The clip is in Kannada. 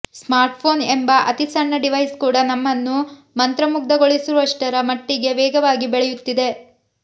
ಸ್ಮಾರ್ಟ್ಫೋನ್ ಎಂಬ ಅತಿ ಸಣ್ಣ ಡಿವೈಸ್ ಕೂಡ ನಮ್ಮನ್ನು ಮಂತ್ರಮುಗ್ಧೊಳಿಸುವಷ್ಟರ ಮಟ್ಟಿಗೆ ವೇಗವಾಗಿ ಬೆಳೆಯುತ್ತಿದೆ